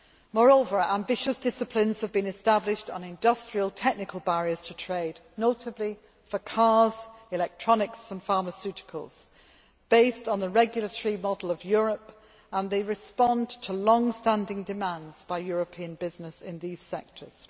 Moreover, ambitious disciplines have been established on industrial technical barriers to trade, notably for cars, electronics and pharmaceuticals based on the regulatory model of Europe and they respond to longstanding demands by European business in these sectors.